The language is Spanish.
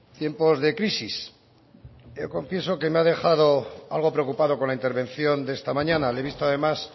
tiempos de crisis yo confieso que me ha dejado algo preocupado con la intervención de esta mañana le he visto además